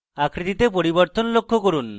আকৃতিতে পরিবর্তন লক্ষ্য করুন